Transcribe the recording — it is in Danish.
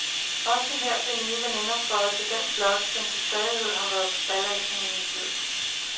Også her blev nye veninder føjet til den flok, som til stadighed har været ballasten i hendes liv.